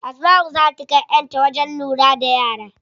Asmau zaa ta kai yar ta wajen lura da yara.